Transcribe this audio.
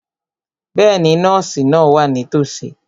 Bẹ́ẹ̀ni, nọ́ọ̀sì náà wà nítòsí.